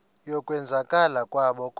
yokwenzakala kwabo kodwa